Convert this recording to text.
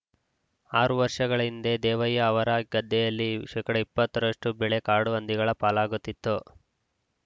ಆರು ವರ್ಷಗಳ ಹಿಂದೆ ದೇವಯ್ಯ ಅವರ ಗದ್ದೆಯಲ್ಲಿ ಶೇಕಡಾ ಇಪ್ಪತ್ತರಷ್ಟು ಬೆಳೆ ಕಾಡು ಹಂದಿಗಳ ಪಾಲಾಗುತ್ತಿತ್ತು